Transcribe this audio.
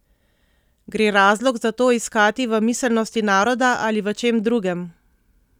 Gre razlog za to iskati v miselnosti naroda ali v čem drugem?